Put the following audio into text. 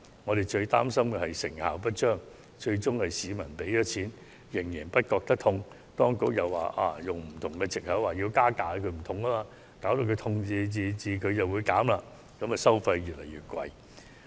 我們最感擔憂的是成效不彰，最終市民付出金錢卻仍感無關痛癢，當局又以此作為藉口實行加價，以致收費越來越高。